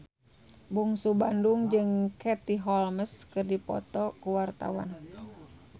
Bungsu Bandung jeung Katie Holmes keur dipoto ku wartawan